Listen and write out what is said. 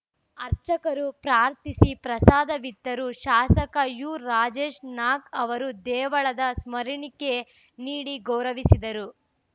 ಅರ್ಚಕರು ಪ್ರಾರ್ಥಿಸಿ ಪ್ರಸಾದವಿತ್ತರು ಶಾಸಕ ಯು ರಾಜೇಶ್ ನಾಕ್ ಅವರು ದೇವಳದ ಸ್ಮರಣಿಕೆ ನೀಡಿ ಗೌರವಿಸಿದರು